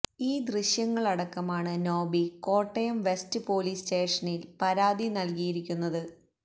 ഈ ദൃശ്യങ്ങളടക്കമാണ് Noby Kottayam west police സ്റ്റേഷനില് പരാതി നല്കിയിരിക്കുന്നത്